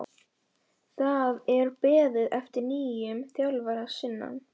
Það er beðið eftir nýjum þjálfara að sunnan.